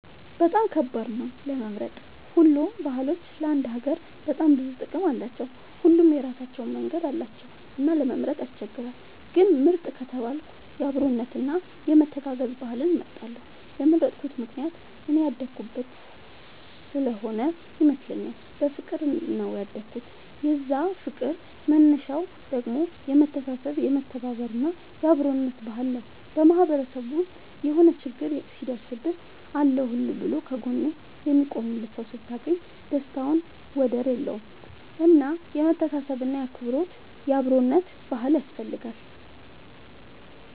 በጣም ከባድ ነው ለመምረጥ ሁሉም ባህሎች ለአንድ ሀገር በጣም ብዙ ጥቅም አላቸው። ሁሉም የራሳቸው መንገድ አላቸው እና ለመምረጥ ያስቸግራል። ግን ምርጥ ከተባልኩ የአብሮነት እና የመተጋገዝ ባህልን እመርጣለሁ የመረጥኩት ምክንያት እኔ ያደኩበት ስሆነ ይመስለኛል። በፍቅር ነው ያደኩት የዛ ፍቅር መነሻው ደግሞ የመተሳሰብ የመተባበር እና የአብሮነት ባህል ነው። በማህበረሰብ ውስጥ የሆነ ችግር ሲደርስብህ አለሁልህ ብሎ ከ ጎንህ የሚቆምልህ ሰው ስታገኝ ደስታው ወደር የለውም። እና የመተሳሰብ እና የአብሮነት ባህል ያስፈልጋል